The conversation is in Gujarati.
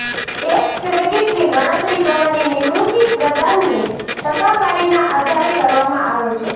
ટેક્સ ક્રેડિટની ગણતરી તમારી નિવૃત્તિ પ્રદાનની ટકાવારીના આધારે કરવામાં આવે છે